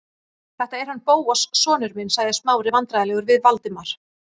Þetta er hann Bóas sonur minn- sagði Smári vandræðalegur við Valdimar.